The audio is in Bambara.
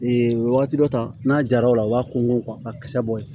wagati dɔ ta n'a jara o la u b'a ko a kisɛ bɔ yen